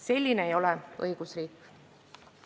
Selline ei ole õigusriik.